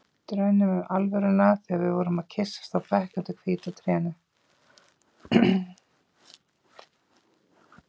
Draumnum um alvöruna þegar við vorum að kyssast á bekk undir hvíta trénu.